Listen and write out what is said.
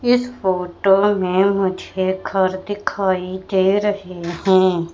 इस फोटो में मुझे घर दिखाई दे रहे हैं।